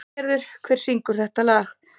Eygerður, hver syngur þetta lag?